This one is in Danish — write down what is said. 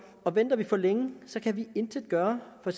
og venter vi for længe kan vi intet gøre for